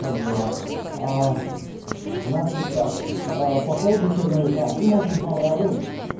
как дела а значит так а по поводу черновика им очень понравилось